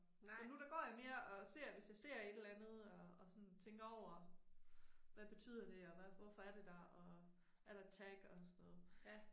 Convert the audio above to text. Så nu der går jeg mere og ser hvis jeg ser et eller andet og og sådan tænker over hvad betyder det og hvorfor er det der og er der et tag og sådan noget